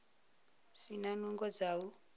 si na nungo dza u